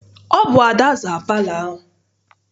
Ọ bụ Ada zara palọ ahụ.